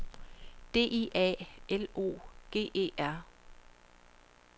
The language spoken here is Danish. D I A L O G E R